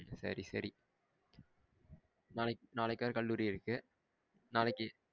சரி, சர நாளைக்கு நாளைக்கு கலையில கல்லூரி இருக்கு. நாளைக்கு